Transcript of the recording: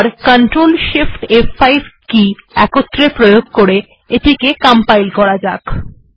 এবার প্রথমে CRTL shift ফ5 কে একত্রে প্রয়োগ করে বা প্রেস করে এটিকে কম্পাইল্ করা যাক